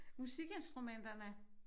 Musikinstrumenterne